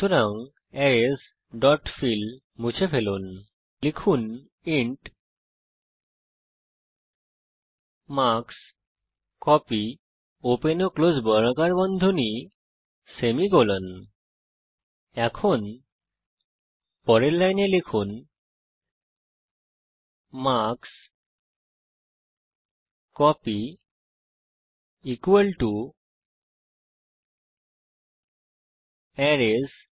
সুতরাং arrays dot fill মুছে ফেলুন এবং লিখুন ইন্ট মার্কস্কোপি পরের লাইনে লিখুন মার্কস্কোপি অ্যারেস